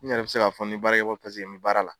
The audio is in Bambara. N yɛrɛ bɛ se k'a fɔ n ye baara kɛ ko paseke n bi baara la.